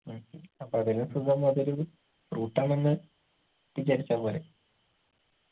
അപ്പൊ അതിലും സുഖം അതൊരു fruit ആണെന്ന് വിചാരിച്ചാ പോരെ